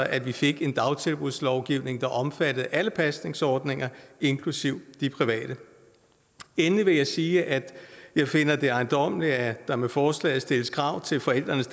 at vi fik en dagtilbudslovgivning der omfattede alle pasningsordninger inklusive de private endelig vil jeg sige at jeg finder det ejendommeligt at der med forslaget stilles krav til forældrenes